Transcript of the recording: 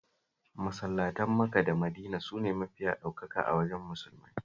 Masallatan Maka da Madina sune mafiya ɗaukaka a wajen Musulmai